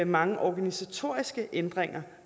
mange organisatoriske ændringer